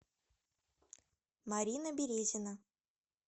марина березина